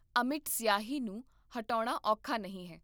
ਅਮਿੱਟ ਸਿਆਹੀ ਨੂੰ ਹਟਾਉਣਾ ਔਖਾ ਨਹੀਂ ਹੈ